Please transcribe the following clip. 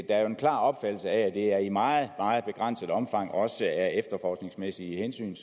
er jo en klar opfattelse af at det er i meget meget begrænset omfang også af efterforskningsmæssige hensyn